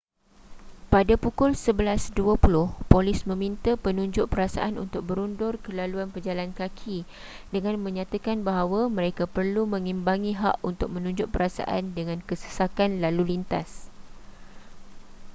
pada pukul 11:20 polis meminta penunjuk perasaan untuk berundur ke laluan pejalan kaki dengan menyatakan bahawa mereka perlu mengimbangi hak untuk menunjuk perasaan dengan kesesakan lalu lintas